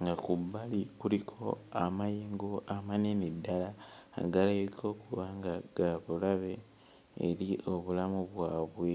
nga ku bbali kuliko amayengo amanene ddala agalabika okuba nga ga bulabe eri obulamu bwabwe.